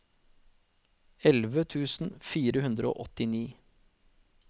elleve tusen fire hundre og åttini